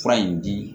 Fura in di